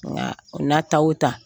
Nka o n'a ta o ta